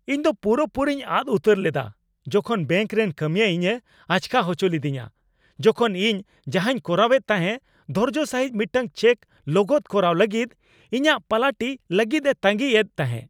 ᱤᱧᱫᱚ ᱯᱩᱨᱟᱹᱼᱯᱩᱨᱤᱧ ᱟᱫ ᱩᱛᱟᱹᱨ ᱞᱮᱫᱟ ᱡᱚᱠᱷᱚᱱ ᱵᱮᱹᱝᱠ ᱨᱮᱱ ᱠᱟᱹᱢᱤᱭᱟᱹ ᱤᱧᱮ ᱟᱪᱠᱟ ᱦᱚᱪᱚ ᱞᱤᱫᱤᱧᱟ, ᱡᱚᱠᱷᱚᱱ ᱤᱧ ᱡᱟᱦᱟᱸᱧ ᱠᱚᱨᱟᱣᱮᱫ ᱛᱟᱦᱮᱸ ᱫᱷᱳᱨᱡᱚ ᱥᱟᱹᱦᱤᱡ ᱢᱤᱫᱴᱟᱝ ᱪᱮᱠ ᱞᱚᱜᱚᱫ ᱠᱚᱨᱟᱣ ᱞᱟᱹᱜᱤᱫ ᱤᱧᱟᱹᱜ ᱯᱟᱞᱟᱴᱤ ᱞᱟᱹᱜᱤᱫᱼᱮ ᱛᱟᱹᱜᱤᱸ ᱮᱫ ᱛᱟᱦᱮᱸ ᱾